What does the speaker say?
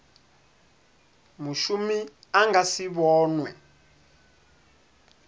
mushumi a nga si vhonwe